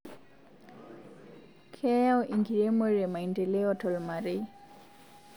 Keyai enkiremore maendeleo tolmarei